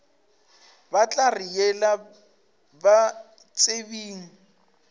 ba tla re yela batsebing